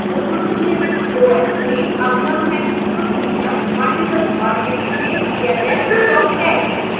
ubuntu linux os में अगला महत्वपूर्ण feature multiple workspace या desktop है